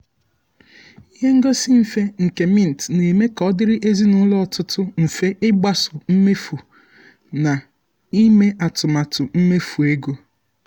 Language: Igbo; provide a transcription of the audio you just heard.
ihe ngosi mfe nke mint na-eme ka ọ dịrị ezinụlọ ọtụtụ mfe ịgbaso mmefu na ime atụmatụ mmefu ego.